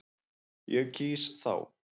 Ég kýs þá.